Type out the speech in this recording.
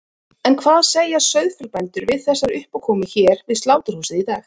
En hvað segja sauðfjárbændur við þessari uppákomu hér við sláturhúsið í dag?